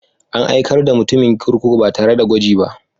An aikar da mutumin kurkuku ba tare da gwaji ba.